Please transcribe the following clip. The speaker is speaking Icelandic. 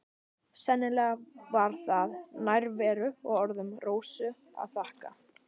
Sennilega var það nærveru og orðum Rósu að þakka.